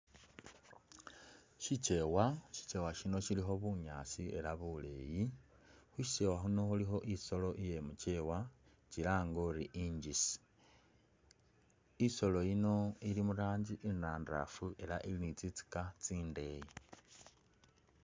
Shilyewa shikyewa shino shillikho bunyaasi ela buleyi khusikyewa khuno khulikho isolo iyemukyewa kyilange uri injisi ,isolo yino ili muranji inandafu ele ili ni tsitsika tsindeyi.